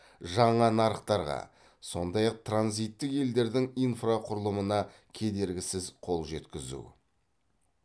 жаңа нарықтарға сондай ақ транзиттік елдердің инфрақұрылымына кедергісіз қол жеткізу